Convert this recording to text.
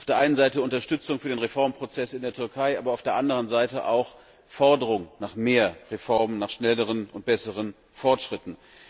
Auf der einen Seite Unterstützung für den Reformprozess in der Türkei, aber auf der anderen Seite auch Forderungen nach mehr Reformen, nach schnelleren und besseren Fortschritten.